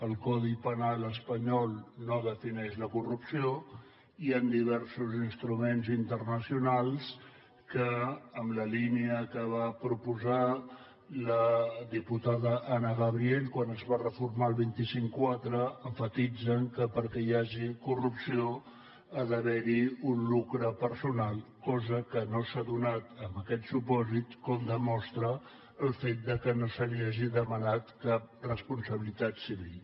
el codi penal espanyol no defineix la corrupció i diversos instruments internacionals en la línia que va proposar la diputada anna gabriel quan es va reformar el dos cents i cinquanta quatre emfatitzen que perquè hi hagi corrupció ha d’haver hi un lucre personal cosa que no s’ha donat en aquest supòsit com demostra el fet de que no se li hagi demanat cap responsabilitat civil